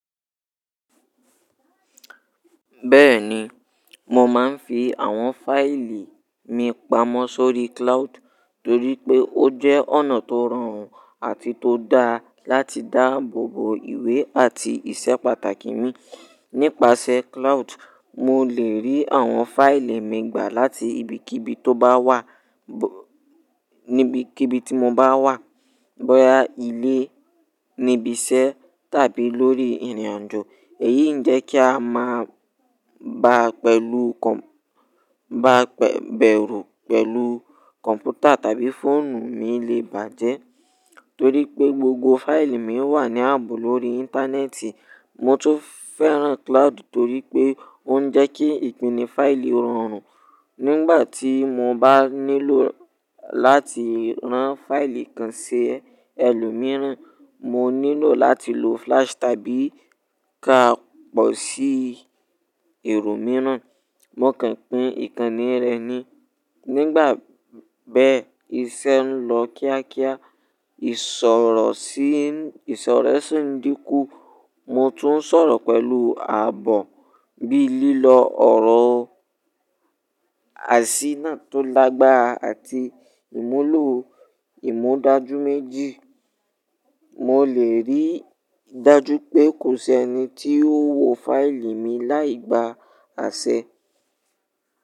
Bẹ́ẹ̀ni, mo máa ń fi àwọn fáìlì mi pamọ́ sórí cloud torí pé ó jẹ́ ọ̀nà tó rọrùn àti tó dá láti dáàbò bo ìwé àti ìṣe pàtàkì mi. Nípasẹ̀ cloud, mo lè rí àwọn fáìlì mi gbà láti ibikíbi tó bá wà, níbikíbi tí mo bá wà; bóyá ilé, níbi iṣẹ́ tàbí lórí ìrìnàjò. Èyí ń jẹ́ kí a máa ba pẹ̀lú kọ̀, ba bẹ̀rù pẹ̀lú kọ̀m̀pútà tàbí fóònù mi lè bàjẹ́ torí pé gbogbo fáìlì mi wà ní ààbò lórí Íńtánẹ́ẹ̀tì. Mo tún fẹ́ràn cloud torí pé ó ń jẹ́ kí ìpini fáìlì rọrùn. Nígbà tí mo bá nílò láti rán fáìlì kan sí ẹlòmíràn, mo nílò láti lo flash tàbí ká pọ̀ sí èrò mìíràn. Mo kàn pín ìkànnì rẹ̀ ni. Nígbà bẹ́ ìṣẹ́ ń lọ kíákíá, ìsọ̀rọ̀ sì, ìsọ̀rọ̀ sì ń dínkú. Mo tún ń sọ̀rọ̀ pẹ̀lú ààbò bí i lílọ ọ̀rọ̀ àṣínà tó lágbára àti ìmúlò ìmúdájú méjì. Mo lè rí i dájú pé kò sí ẹni tí ó wo fáìlì mi láì gba àṣẹ.